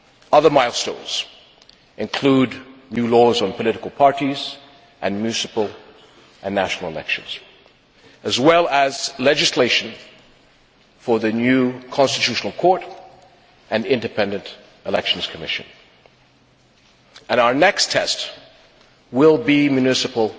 Other milestones include new laws on political parties and municipal and national elections as well as legislation for the new constitutional court and independent elections commission, and our next tests will be municipal